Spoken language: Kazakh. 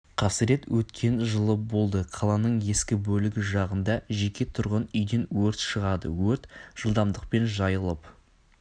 қасырет өткен жылы болды қаланың ескі бөлігі жағында жеке тұрғын үйден өрт шығады өрт жылдамдықпен жайылып